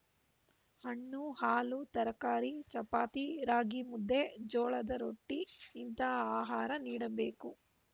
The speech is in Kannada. ಹಣ್ಣು ಹಾಲು ತರಕಾರಿ ಚಪಾತಿ ರಾಗಿಮುದ್ದೆ ಜೋಳದ ರೊಟ್ಟಿಇಂತಹ ಆಹಾರ ನೀಡಬೇಕು